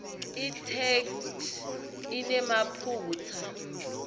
itheksthi inemaphutsa